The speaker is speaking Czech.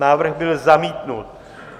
Návrh byl zamítnut.